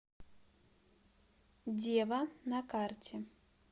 дева на карте